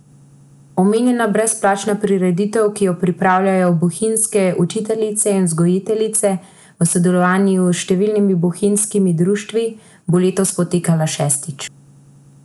Omenjena brezplačna prireditev, ki jo pripravljajo bohinjske učiteljice in vzgojiteljice v sodelovanju s številnimi bohinjskimi društvi, bo letos potekala šestič.